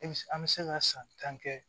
E bi an be se ka san tan kɛ